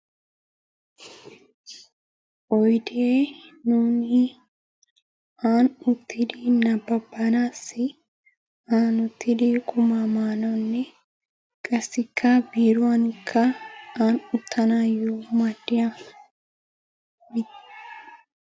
Oydee nuuni ani uttidi nabbabanaasi ani uttidi qumaa maanassi qassikka biiruwanikka ani uttanayo maaddiyaba...